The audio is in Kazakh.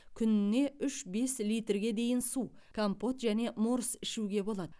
күніне үш бес литрге дейін су компот және морс ішуге болады